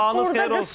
Sabahınız xeyir olsun.